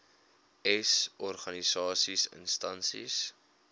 s organisasies instansies